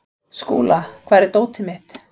Skúla, hvar er dótið mitt?